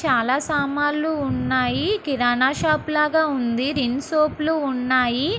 చాలా సామాన్లు ఉన్నాయి. కిరాణా షాపు లాగా ఉంది. రిన్ సోపులు ఉన్నాయి.